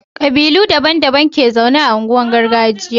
kabilu daban daban ke zaune a unguwanin gargajiya